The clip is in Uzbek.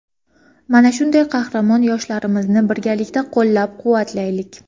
Mana shunday qahramon yoshlarimizni birgalikda qo‘llab-quvvatlaylik.